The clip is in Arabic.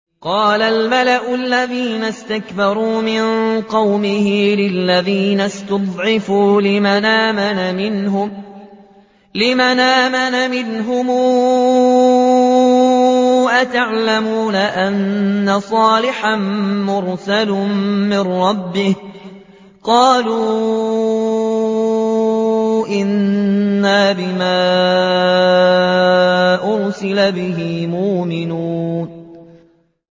قَالَ الْمَلَأُ الَّذِينَ اسْتَكْبَرُوا مِن قَوْمِهِ لِلَّذِينَ اسْتُضْعِفُوا لِمَنْ آمَنَ مِنْهُمْ أَتَعْلَمُونَ أَنَّ صَالِحًا مُّرْسَلٌ مِّن رَّبِّهِ ۚ قَالُوا إِنَّا بِمَا أُرْسِلَ بِهِ مُؤْمِنُونَ